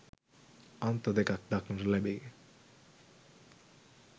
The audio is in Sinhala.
අන්ත දෙකක් දක්නට ලැබේ